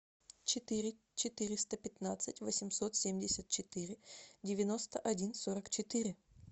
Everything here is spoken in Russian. четыре четыреста пятнадцать восемьсот семьдесят четыре девяносто один сорок четыре